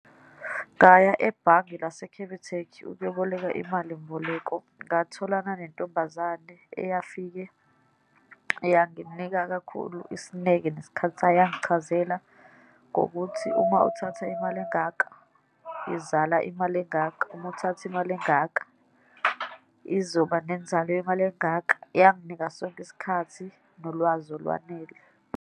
Ngaya ebhange lase-Capitec ukuyoboleka imalimboleko. Ngatholanga nentombazane eyafike yanginika kakhulu isineke, nesikhathi sayo, yangichazela ngokuthi uma uthatha imali engaka, izala imali engaka, uma uthatha imali engaka, izoba nenzalo yemali engaka. Yanginika sonke isikhathi nolwazi olwanele.